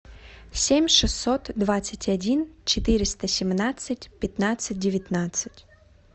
семь шестьсот двадцать один четыреста семнадцать пятнадцать девятнадцать